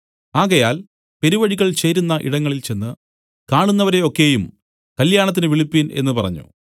ആകയാൽ പെരുവഴികൾ ചേരുന്ന ഇടങ്ങളിൽ ചെന്ന് കാണുന്നവരെ ഒക്കെയും കല്യാണത്തിന് വിളിപ്പിൻ എന്നു പറഞ്ഞു